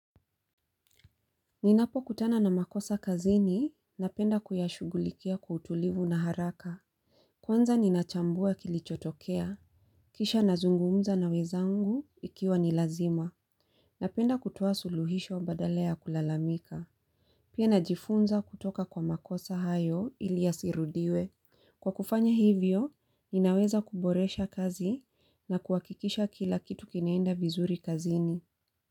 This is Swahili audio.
Ninapo kutana na makosa kazini, napenda kuyashughulikia kwa utulivu na haraka. Kwanza ninachambua kilichotokea. Kisha nazungumza na wenzangu ikiwa ni lazima. Napenda kutoa suluhisho badala ya kulalamika. Pia najifunza kutoka kwa makosa hayo ili yasirudiwe. Kwa kufanya hivyo, ninaweza kuboresha kazi na kuhakikisha kila kitu kinaenda vizuri kazini.